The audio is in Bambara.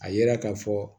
A yira ka fɔ